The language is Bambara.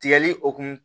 Tigɛli o kun